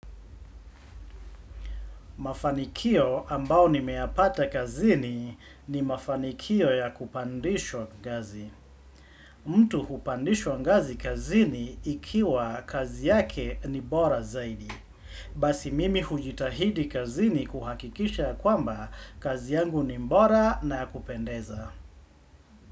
Mafanikio ambao nimeyapata kazini ni mafanikio ya kupandishwa ngazi. Mtu kupandishwa ngazi kazini ikiwa kazi yake ni bora zaidi. Basi mimi hujitahidi kazini kuhakikisha ya kwamba kazi yangu ni bora na ya kupendeza.